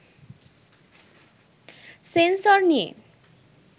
sensor নিয়ে